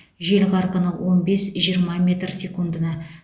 жел қарқыны он бес жиырма метр секундына